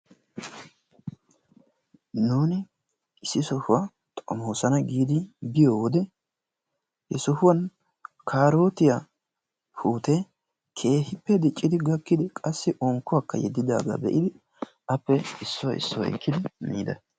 Nuuni issi sohuwaa xoommosona giidi biyoo wode he sohuwaan karootiyaa puutee keehippe diiccidi qassi unkkuwaakka yeedidaaga be'idi appeissuwaa issuwaa ekkidi miida.